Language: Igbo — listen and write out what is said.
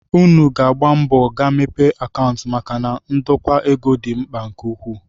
Unu ga-agba mbọ gaa mepee akaụntụ maka na ndokwa ego dị mkpa nke ukwuu